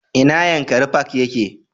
ina jankari park yake